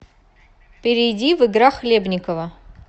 перейди в игра хлебниково